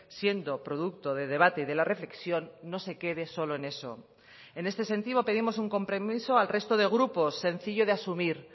siendo producto de debate de la reflexión no se quede solo en eso en este sentido pedimos un compromiso al resto de grupos sencillo de asumir